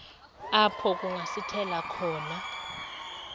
apho kungasithela khona